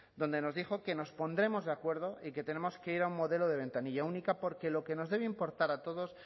donde nos dijo que nos pondremos de acuerdo y que tenemos que ir a un modelo de ventanilla única porque lo que nos debe importar a todos